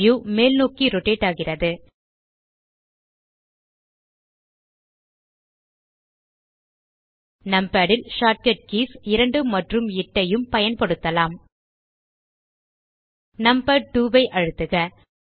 view மேல்நோக்கி rotate ஆகிறது numpad ல் ஷார்ட்கட் கீஸ் 2 மற்றும் 8 ஐயும் பயன்படுத்தலாம் நம்பாட் 2 ஐ அழுத்துக